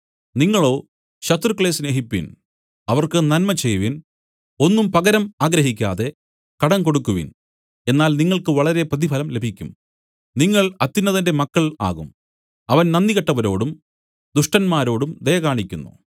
നിങ്ങളോ ശത്രുക്കളെ സ്നേഹിപ്പിൻ അവർക്ക് നന്മ ചെയ്‌വിൻ ഒന്നും പകരം ആഗ്രഹിക്കാതെ കടം കൊടുക്കുവിൻ എന്നാൽ നിങ്ങൾക്ക് വളരെ പ്രതിഫലം ലഭിക്കും നിങ്ങൾ അത്യുന്നതന്റെ മക്കൾ ആകും അവൻ നന്ദികെട്ടവരോടും ദുഷ്ടന്മാരോടും ദയ കാണിക്കുന്നു